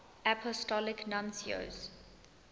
apostolic nuncios